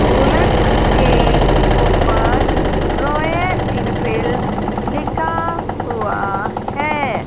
Bullet के ऊपर Royal Enfield लिखा हुआ है।